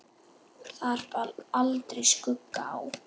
Þar bar aldrei skugga á.